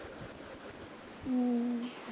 हम्म